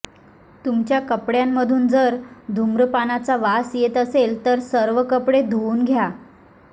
तुमच्या कपड्यामधून जर धूम्रपानाचा वास येत असेल तर सर्व कपडे धुऊन घ्या